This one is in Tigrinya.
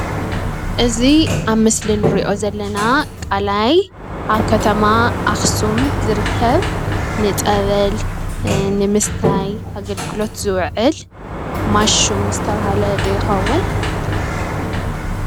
እዚ ኣብ ምስሊ እንሪኦ ዘለና ቃላይ ኣብ ኸተማ ኣኽሱም ዝርከብ ንፀበል፣ ንምስታይ ኣገልግሎት ዝውዕል ማይ ሹም ዝበሃል ዶ ይኾን?